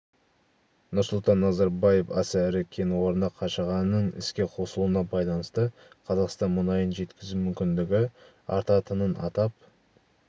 нұрсұлтан назарбаев аса ірі кен орны қашағанның іске қосылуына байланысты қазақстан мұнайын жеткізу мүмкіндігі артатынын атап